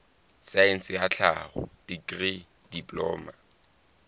saense ya tlhaho dikri diploma